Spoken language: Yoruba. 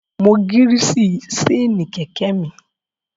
Mo gírìsì séènì kẹ̀kẹ́ mi